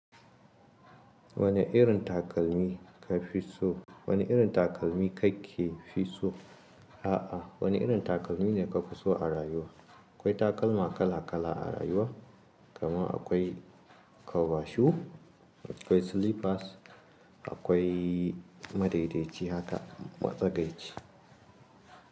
Wani irin takalmi ka fi so? Wani irin takalmi kake fi so? A'a wani irin takalmi ne kafi so a rayuwa? Akwai takalma kala kala a rayuwa, kaman akwai kwabashu, akwai slippers, akwai madaidaici haka matsagaici.